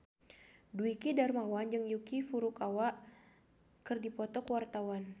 Dwiki Darmawan jeung Yuki Furukawa keur dipoto ku wartawan